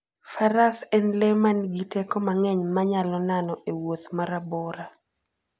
Faras en le ma nigi teko mang'eny ma nyalo nano e wuoth ma rabora.